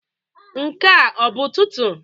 Nke a ọ bụ Ụtụtụ?